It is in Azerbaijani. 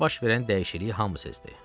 Onda baş verən dəyişikliyi hamı sezdi.